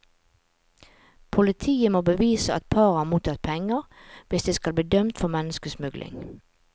Politiet må bevise at paret har mottatt penger, hvis de skal bli dømt for menneskesmugling.